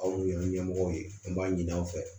Aw ye ɲɛmɔgɔ ye an b'a ɲini aw fɛ